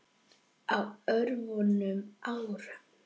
Á örfáum árum.